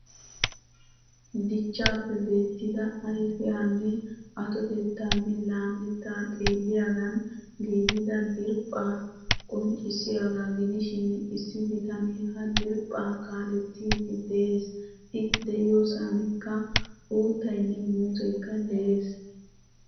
Dichchappe beettida ayfiyanne atotettanne laametta xeelliyagan giigida diriphpha qonccissiyaga gidishin issi bitane ha diriphpha kaalettidi de'ees. I de'iyosanikka uuttaynne muuzzekka de'ees.